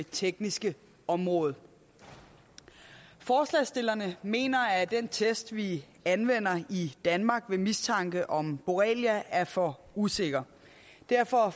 tekniske område forslagsstillerne mener at den test vi anvender i danmark ved mistanke om borrelia er for usikker derfor